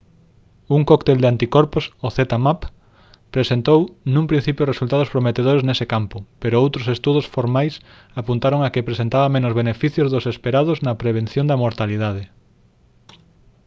un cóctel de anticorpos o zmapp presentou nun principio resultados prometedores nese campo pero outros estudos formais apuntaron a que presentaba menos beneficios dos esperados na prevención da mortalidade